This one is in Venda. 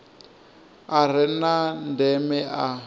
a re na ndeme a